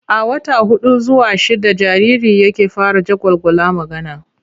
A wata huɗu zuwa shidda jariri yake fara jagwalgwala magana.